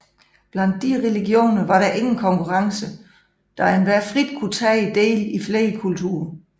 Blandt disse religioner var der ingen konkurrence da enhver frit kunne tage del i flere kulter